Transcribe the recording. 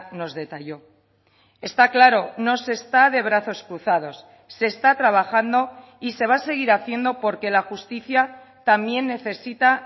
nos detalló está claro no se está de brazos cruzados se está trabajando y se va a seguir haciendo porque la justicia también necesita